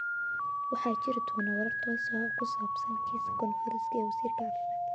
Waxaa jiri doona warar toos ah oo ku saabsan kiisaska coronavirus-ka ee wasiirka caafimaadka.